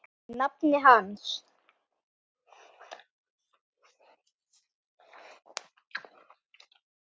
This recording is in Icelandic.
Ég er nafni hans.